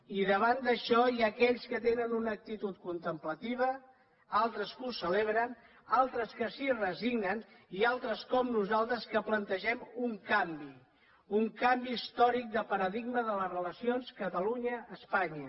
i davant d’això hi ha aquells que tenen una actitud contemplativa altres que ho celebren altres que s’hi resignen i altres com nosaltres que plantegem un canvi un canvi històric de paradigma de les relacions catalunya espanya